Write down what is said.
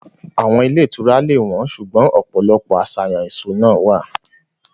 Àwọn ilé ìtura lè wọ́n, ṣùgbọ́n ọ̀pọ̀lọpọ̀ àṣàyàn ìṣúná wà.